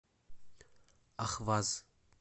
ахваз